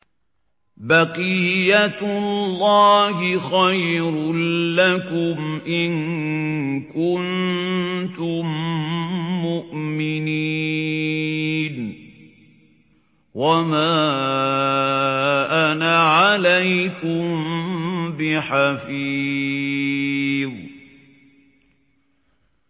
بَقِيَّتُ اللَّهِ خَيْرٌ لَّكُمْ إِن كُنتُم مُّؤْمِنِينَ ۚ وَمَا أَنَا عَلَيْكُم بِحَفِيظٍ